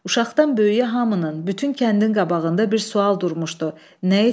Uşaqdan böyüyə hamının, bütün kəndin qabağında bir sual durmuşdu: Nə etməli?